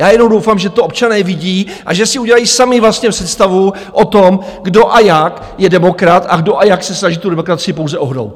Já jenom doufám, že to občané vidí a že si udělají sami vlastně představu o tom, kdo a jak je demokrat a kdo a jak se snaží tu demokracii pouze ohnout!